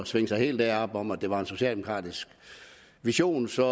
svinge sig helt derop hvor man det var en socialdemokratisk vision så